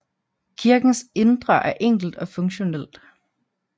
Kirkens indre er enkelt og funktionelt